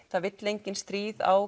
það vill enginn stríð á